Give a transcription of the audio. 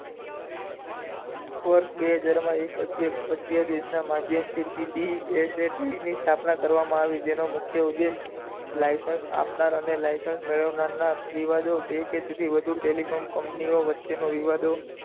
વર્ષ બે હજાર મા એક અધ્યા દેશ ના માધ્યમ થી P D E S A P ની સ્થાપના કરવામાં જેનો મુખ્ય ઉદેશ્ય license આપનાર અને license મેળવનાર ના વિવાદો બે થી વધુ telecom company વચ્ચેઓ નો વિવાદો